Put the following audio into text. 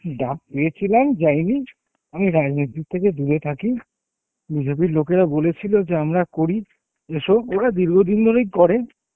ডাক পেয়েছিলাম যায়নি, আমি যাইনি আমি রাজনীতির থেকে দূরে থাকি BJP এর লোকেরা বলেছিল যে আমরা করি, এসো, ওরা দীর্ঘদিন ধরেই করে,